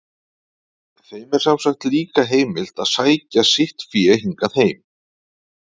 Þeim er sem sagt líka heimilt að sækja sitt fé hingað heim.